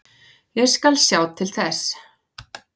Ég skal sjá til þess.